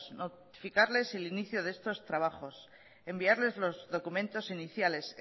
notificarles el inicio de estos trabajos enviarles los documentos iniciales